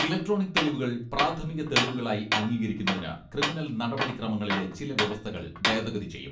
Electronic തെളിവുകൾ, പ്രാഥമിക തെളിവുകളായി അംഗീകരിക്കുന്നതിന് ക്രിമിനൽ നടപടി ക്രമങ്ങളിലെ ചില വ്യവസ്ഥകൾ ഭേദഗതി ചെയ്യും.